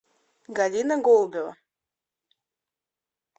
галина голубева